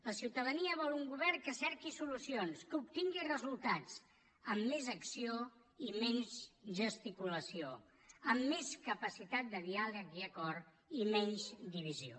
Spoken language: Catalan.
la ciutadania vol un govern que cerqui solucions que obtingui resultats amb més acció i menys gesticulació amb més capacitat de diàleg i acord i menys divisió